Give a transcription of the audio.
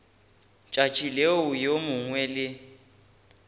tšatši leo yo mongwe le